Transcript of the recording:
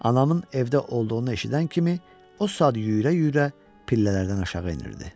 Anamın evdə olduğunu eşidən kimi o saat yüyürə-yüyürə pillələrdən aşağı enirdi.